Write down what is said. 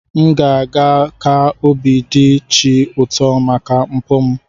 M ga-eme ka obi dị chi ụtọ maka mpụ m.